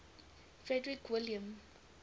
frederick william